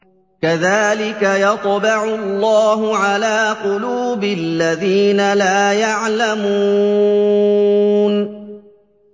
كَذَٰلِكَ يَطْبَعُ اللَّهُ عَلَىٰ قُلُوبِ الَّذِينَ لَا يَعْلَمُونَ